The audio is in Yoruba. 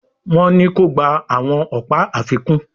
Wón ní kò gbà àwọn ọpa àfikún